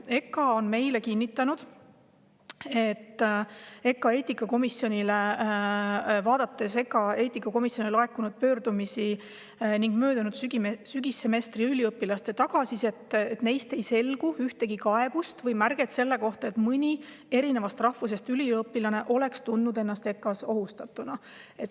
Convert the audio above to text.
EKA on meile kinnitanud, et EKA eetikakomisjonile laekunud pöördumiste ning möödunud sügissemestri üliõpilaste tagasiside põhjal ei selgu, et mõni rahvusest üliõpilane oleks tundnud ennast EKA-s ohustatuna.